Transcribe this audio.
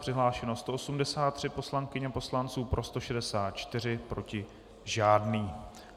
Přihlášeno 183 poslankyň a poslanců, pro 164, proti žádný.